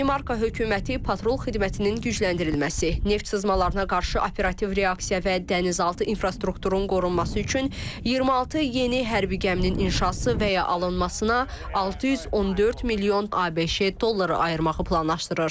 Danimarka hökuməti patrul xidmətinin gücləndirilməsi, neft sızmalarına qarşı operativ reaksiya və dənizaltı infrastrukturun qorunması üçün 26 yeni hərbi gəminin inşası və ya alınmasına 614 milyon ABŞ dolları ayırmağı planlaşdırır.